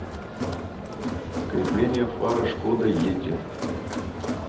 крепление фары шкода йети